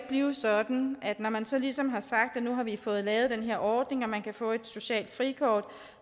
blive sådan at når man så ligesom har sagt at nu har vi fået lavet den her ordning hvor man kan få et socialt frikort